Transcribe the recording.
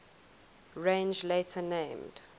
range later named